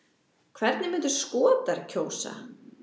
Hvernig myndu Skotar kjósa?